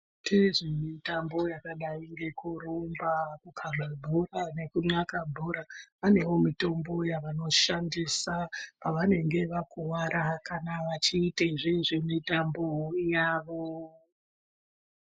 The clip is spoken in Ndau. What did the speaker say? Vanoita zvemitambo yakadai ngekurumba, kukhabe bhora ,nekunxaka bhora ,vanewo mitombo yavanoshandisa pavanenge vakuwara kana vachiite zvezvemitambo yavo .